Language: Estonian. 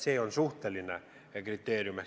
See on suhteline kriteerium.